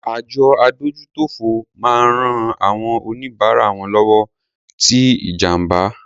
Àjọ adójútòfò máa ń rán àwọn oníbárà wọn lọ́wọ́ tí ìjàǹbá.